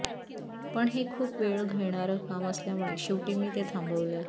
पण हे खूप वेळ घेणारं काम असल्यामुळे शेवटी मी ते थांबवलं